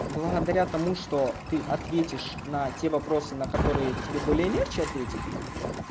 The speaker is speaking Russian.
благодаря тому что ты ответишь на те вопросы на которые тебе более легче ответить